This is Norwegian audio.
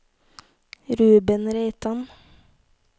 Ruben Reitan